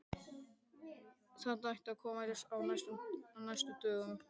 Þetta ætti að koma í ljós á næstu dögum.